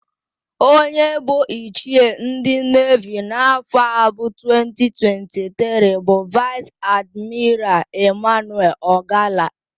Onye bụ ichie ndị nevi n'afọ a bụ 2023 bụ Vaịs Admiral Ịmanuel Ọgala.